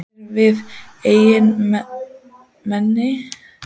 Líkar þér vel við Eyjamenn og hefurðu eignast marga vini?